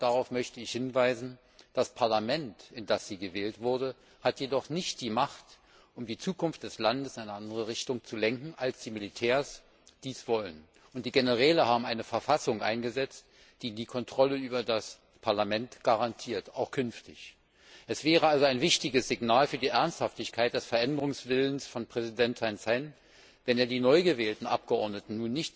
Aber darauf möchte ich hinweisen das Parlament, in das sie gewählt wurde, hat nicht die Macht, um die Zukunft des Landes in eine andere Richtung zu lenken, als die Militärs dies wollen. Und die Generäle haben eine Verfassung eingesetzt, die die Kontrolle über das Parlament auch künftig garantiert. Es wäre also ein wichtiges Signal für die Ernsthaftigkeit des Veränderungswillens von Präsident Thein Sein, wenn er nicht versucht, die neu gewählten Abgeordneten